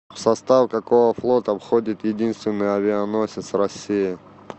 в состав какого флота входит единственный авианосец россии